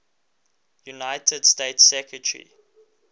united states secretary